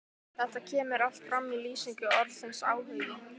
Þetta kemur allt fram í lýsingu orðsins áhugi